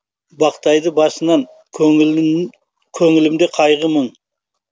бақтайды басынан көңілімде кайғы мұң